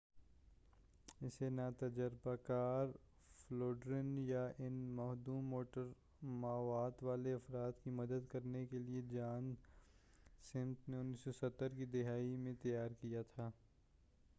اسے نا تجربہ کار فولڈرز یا ان محدود موٹر مہارت والے افراد کی مدد کرنے کیلئے جان سمتھ نے 1970 کی دہائی میں تیار کیا تھا